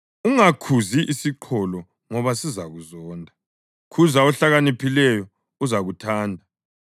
Ungakhuzi isiqholo ngoba sizakuzonda; khuza ohlakaniphileyo uzakuthanda.